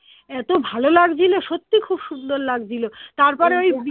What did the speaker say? এতো ভালো লাগছিলো সত্যি খুব সুন্দর লাগছিলো তারপরে